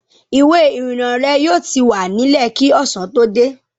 Ìwé-ìrìnnà rẹ yóò ti wà nílẹ̀ kí ọ̀sán tó dé.